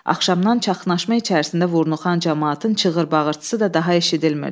Axşamdan çaxnaşma içərisində vurnuxan camaatın çığır-bağırtısı da daha eşidilmirdi.